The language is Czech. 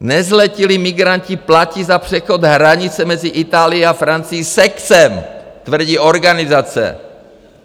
Nezletilí migranti platí za přechod hranice mezi Itálií a Francií sexem, tvrdí organizace.